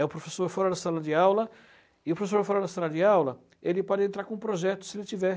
É o professor fora da sala de aula e o professor fora da sala de aula ele pode entrar com projetos, se tiver.